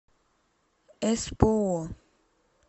эспоо